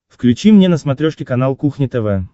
включи мне на смотрешке канал кухня тв